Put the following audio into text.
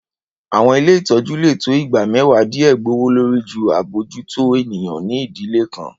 Àwọn ilé ìtọ́jú lè tó igba mẹ́wàá díè gbòwòlórí jù abójútó ènìyàn ní ìdílé kan.